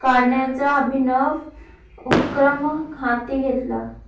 काढण्याचा अभिनव उपक्रम हाती घेतला